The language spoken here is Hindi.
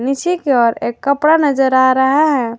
इसी की ओर एक कपड़ा नजर आ रहा है।